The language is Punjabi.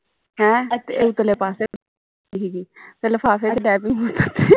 ਹੈ ਤੇ ਉਤਲੇ ਪਾਸੇ ਦੀ ਹੀਗੀ ਤੇ ਲਿਫਾਫੇ ਵਿਚ ਦੈ ਪਈ